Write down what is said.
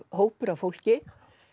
hópur af fólki